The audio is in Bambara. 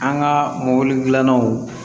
An ka mobili dilanna o